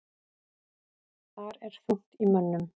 Þar er þungt í mönnum.